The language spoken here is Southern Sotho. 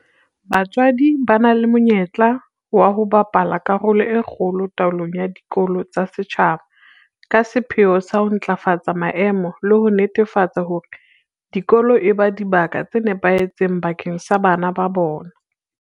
BaTswaDI ba na le monyetla wa ho bapala karolo e kgolo taolong ya dikolo tsa setjhaba ka sepheo sa ho ntlafatsa maemo le ho netefatsa hore dikolo eba dibaka tse nepahetseng bakeng sa bana ba bona.